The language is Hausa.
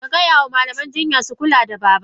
Kagaya ma Malaman jinya su kula da babana.!